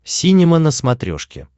синема на смотрешке